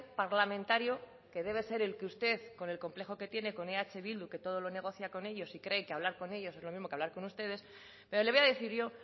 parlamentario que debe ser el que usted con el complejo que tiene con eh bildu que todo lo negocia con ellos y cree que hablar con ellos es lo mismo que hablar con ustedes pero le voy a decir yo